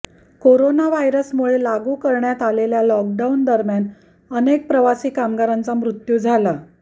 corona व्हायरसमुळे लागू करण्यात आलेल्या लॉकडाऊन दरम्यान अनेक प्रवासी कामगारांचा मृत्यू झाला